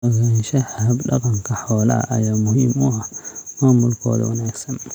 Ogaanshaha hab-dhaqanka xoolaha ayaa muhiim u ah maamulkooda wanaagsan.